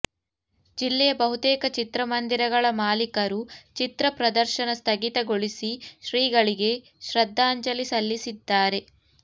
ಜಿಲ್ಲೆಯ ಬಹುತೇಕ ಚಿತ್ರ ಮಂದಿರಗಳ ಮಾಲೀಕರು ಚಿತ್ರ ಪ್ರದರ್ಶನ ಸ್ಥಗಿತ ಗೊಳಿಸಿ ಶ್ರೀಗಳಿಗೆ ಶ್ರದ್ಧಾಂಜಲಿ ಸಲ್ಲಿಸಿದ್ದಾರೆ